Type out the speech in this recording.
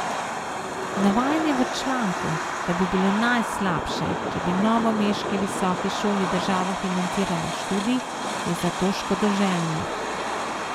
Navajanje v članku, da bi bilo najslabše, če bi novomeški visoki šoli država financirala študij, je zato škodoželjno.